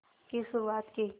की शुरुआत की